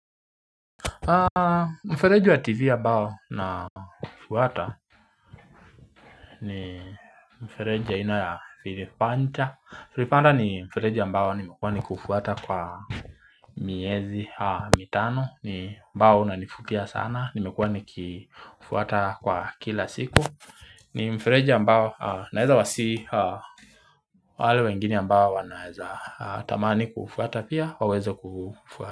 Mfereji wa tivi ya bao na kufuata ni mfereji ya aina ya filipancha filipancha ni mfereji ambao nimekuwa ni kuufuata kwa miezi mitano ni mbao unaonivutia sana nimekuwa nikifuata kwa kila siku ni mfereji ambao naeza wasihi wale wengine ambao wanaeza tamani kufuata pia waweza kufuata.